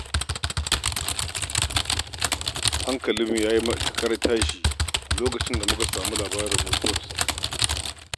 Hankalinmu ya yi matuƙar tashi a lokacin da muka samu labarin mutuwarsa.